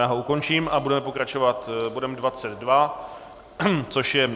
Já ho ukončím a budeme pokračovat bodem 22, což je